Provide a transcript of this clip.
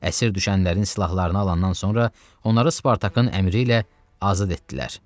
Əsir düşənlərin silahlarını alandan sonra onları Spartakın əmri ilə azad etdilər.